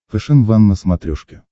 фэшен ван на смотрешке